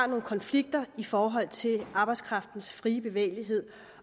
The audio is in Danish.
nogle konflikter i forhold til arbejdskraftens fri bevægelighed